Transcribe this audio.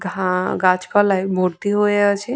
ঘা গাছ পালায় ভর্তি হয়ে আছে।